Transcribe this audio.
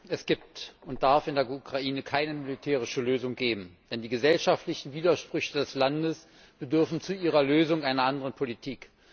Es gibt und darf in der Ukraine keine militärische Lösung geben, denn die gesellschaftlichen Widersprüche des Landes bedürfen zu ihrer Lösung einer anderen Politik.